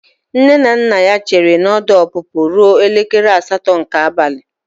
Nne na nna ya chere na ọdụ ọpụpụ ruo elekere asatọ nke abalị.